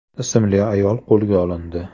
ismli ayol qo‘lga olindi.